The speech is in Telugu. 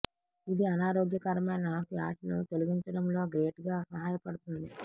ఇది అనారోగ్యకరమైన ఫ్యాట్ ను తొలగించడంలో గ్రేట్ గా సహాయపడుతుంది